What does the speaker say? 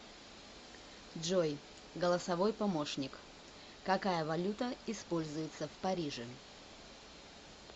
джой голосовой помощник какая валюта используется в париже